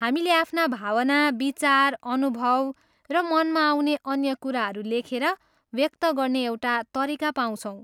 हामीले आफ्ना भावना, विचार, अनुभव र मनमा आउने अन्य कुराहरू लेखेर व्यक्त गर्ने एउटा तरिका पाउँछौँ।